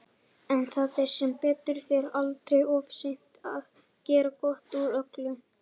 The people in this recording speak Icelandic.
En það er sem betur fer aldrei of seint að gera gott úr öllu.